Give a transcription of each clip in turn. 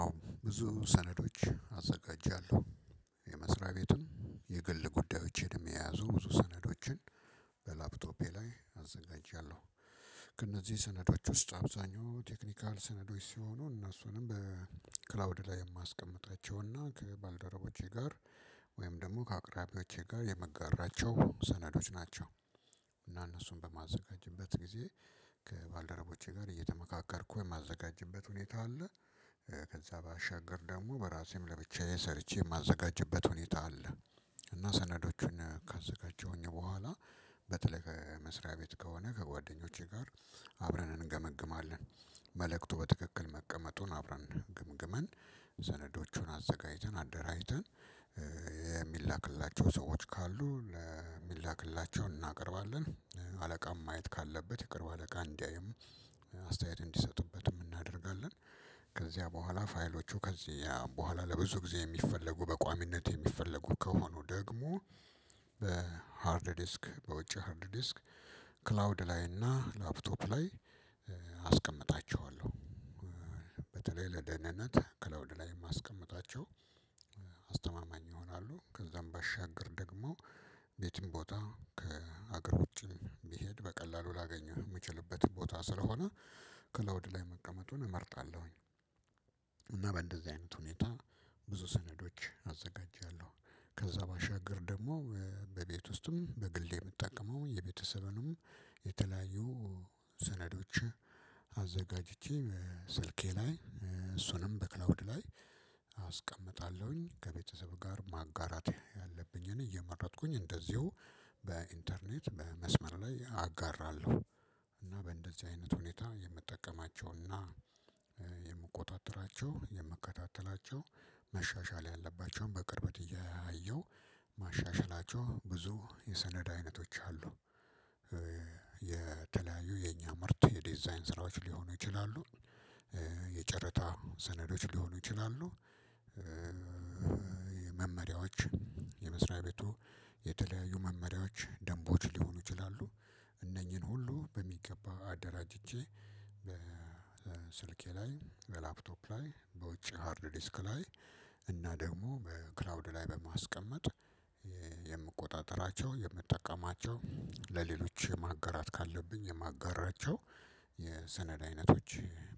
አዎ ብዙ ሰነዶች አዘጋጃለሁ የመስሪያ ቤቱን የግል ጉዳዮችን የሚያያዙ ብዙ ሰነዶችን በላፕቶፔ ላይ አዘጋጅቻለሁ። ከእነዚህ ሰነዶች ውስጥ አብዛኛው ቴክኒካል ሰነዶች ሲሆኑ እነሱንም በክላውድ ላይ የማስቀምጣቸው እና ከባልደረቦቼ ጋር ወይም ደግሞ ከአቅራቢዎቼ ጋር የምጋራቸው ሰነዶች ናቸው። እና እነሱን በማዘጋጀበት ጊዜ ከባልደረቦቼ ጋር እየተመካከርኩ የማዘጋጀበት ሁኔታ አለ። ከዛ ባሻገር ደግሞ በራሴም ለብቻዬ ሰርቼ የማዘጋጀበት ሁኔታ አለ። እና ሰነዶቹን ካዘጋጀሁኝ በኋላ በተለይ መስሪያ ቤት ከሆነ ከጓደኞቼ ጋር አብረን እንገመግማለን። መልእክቱ በትክክል መቀመጡን አብረን ግምግመን ሰነዶቹን አዘጋጅተን አደራጅተን የሚላክላቸው ሰዎች ካሉ ለሚላክላቸው እናቀርባለን አለቃም ማየት ካለበት የቅርብ አለቃ እንዲያይም አስተያየት እንዲሰጡበት እናደርጋለን። ከዚያ በኋላ ፋይሎቹ ከዚያ በኋላ ለብዙ ጊዜ የሚፈለጉ በቋሚነት የሚፈለጉ ከሆኑ ደግሞ በሃርድ ዲስክ በውጪ ሃርድ ዲስክ ክላውድ ላይ እና ላፕቶፕ ላይ አስቀምጣቸዋለሁ። በተለይ ለደህንነት ከለውድ ላይም አስቀምጣቸው። አስተማማኝ ይሆናሉ ከዛም ባሻገር ደግሞ ቤትም ቦታ ከአገር ውጪም ቢሄድ በቀላሉ ላገኘህ የምችልበት ቦታ ስለሆነ ከለውድ ላይ መቀመጡን እመርጣለሁኝ። እና በእንደዚህ አይነት ሁኔታ ብዙ ሰነዶች አዘጋጃለሁ። ከዛ ባሻገር ደግሞ በቤት ውስጥም በግል የምጠቀመው የቤተሰብንም የተለያዩ ሰነዶችን አዘጋጅቼ ስልኬ ላይ እሱንም በክላውድ ላይ አስቀምጣለሁኝ ከቤተሰብ ጋር ማጋራት ያለብኝ እኔ እየመረጥኩኝ እንደዚሁ በኢንተርኔት መስመር ላይ አጋራለሁ። እና በእንደዚህ አይነት ሁኔታ የምጠቀማቸውና የምቆጣጥራቸው የምከታተላቸው መሻሻል ያለባቸውን በቅርበት እያየው ማሻሻላቸው ብዙ የሰነድ አይነቶች አሉ። የተለያዩ የኛ ምርት የ ዲዛይን ስራዎች ሊሆኑ ይችላሉ። የጨረታ ሰነዶች ሊሆኑ ይችላሉ። የመመሪያዎች የመስሪያ ቤቱ የተለያዩ መመሪያዎች ደንቦች ሊሆኑ ይችላሉ። እነኚህን ሁሉ በሚገባ አደራጅቼ በስልኬ ላይ በላፕቶፕ ላይ በውጪ ሃርድ ዲስክ ላይ እና ደግሞ በክላውድ ላይ በማስቀመጥ የምቆጣጠራቸው የምትጠቀማቸው ለሌሎች ማገራት ካለብኝ የማጋራቸው የሰነድ አይነቶች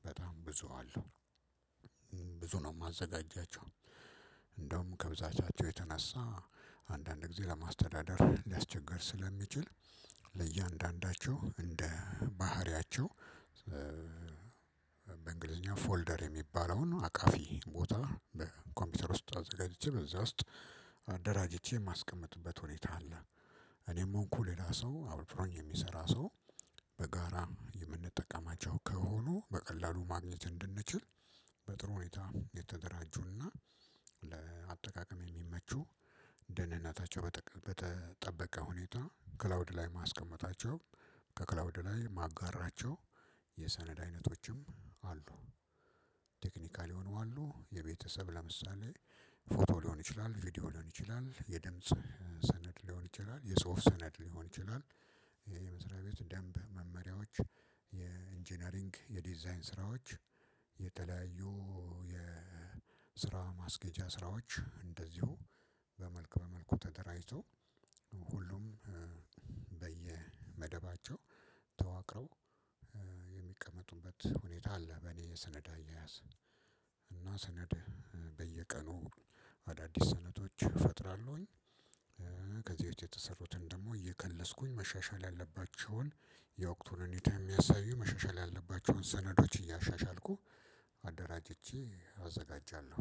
በጣም ብዙ አሉ። ብዙ ነው የማዘጋጃቸው እንደውም ከብዛቻቸው የተነሳ አንዳንድ ጊዜ ለማስተዳደር ሊያስቸግር ስለሚችል ለእያንዳንዳቸው እንደ ባህሪያቸው በእንግሊዝኛ ፎልደር የሚባለውን አቃፊ ቦታ በኮምፒውተር ውስጥ አዘጋጅቼ በዛ ውስጥ አደራጅቼ የማስቀምጥበት ሁኔታ አለ። እኔም እኮ ሌላ ሰው አብሮኝ የሚሰራ ሰው በጋራ የምንጠቀማቸው ከሆኑ በቀላሉ ማግኘት እንድንችል በጥሩ ሁኔታ የተደራጁና ለአጠቃቀም የሚመቹ ደህንነታቸው በተጠበቀ ሁኔታ ክላውድ ላይ ማስቀመጣቸው ከክላውድ ላይ ማጋራቸው የሰነድ አይነቶችም አሉ። ቴክኒካል የሆኑ አሉ የቤተሰብ ለምሳሌ ፎቶ ሊሆን ይችላል ቪዲዮ ሊሆን ይችላል የድምጽ ሰነድ ሊሆን ይችላል የጽሁፍ ሰነድ ሊሆን ይችላል። የመስሪያ ቤት ደንብ መመሪያዎች የኢንጂነሪንግ የዲዛይን ስራዎች የተለያዩ የስራ ማስገጃ ስራዎች እንደዚሁ በመልክ በመልኩ ተደራጅቶ ሁሉም በየመደባቸው ተዋቅረው የሚቀመጡበት ሁኔታ አለ። በኔ የሰነዳ አያያዝ እና ሰነድ በየቀኑ አዳዲስ ሰነዶች እፈጥራለሁኝ። ከዚህ የተሰሩትን ደግሞ እየከለስኩኝ መሻሻል ያለባቸውን የወቅቱን ሁኔታ የሚያሳዩ መሻሻል ያለባቸውን ሰነዶች እያሻሻልኩ አደራጅቼ አዘጋጃለሁ።